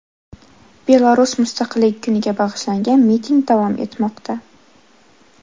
Belarus mustaqilligi kuniga bag‘ishlangan miting davom etmoqda.